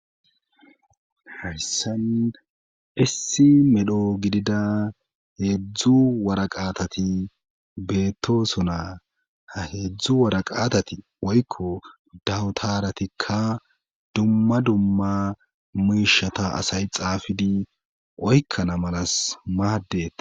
Hayssana issi medho gidida heedzdzu wara qaatati beettosonaa ha heedzdzu wara qaatati woykko dawutaratikka dumma dumma muyishata asay xaafidi oykkana malas maadeta